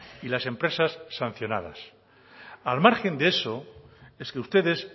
y las empresas sancionadas al margen de eso es que ustedes